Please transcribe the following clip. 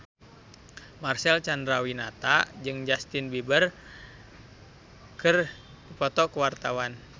Marcel Chandrawinata jeung Justin Beiber keur dipoto ku wartawan